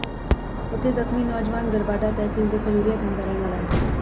ਉਥੇ ਜ਼ਖ਼ਮੀ ਨੌਜਵਾਨ ਗਰਬਾਡਾ ਤਹਿਸੀਲ ਦੇ ਖਜੂਰੀਆ ਪਿੰਡ ਦਾ ਰਹਿਣ ਵਾਲਾ ਹੈ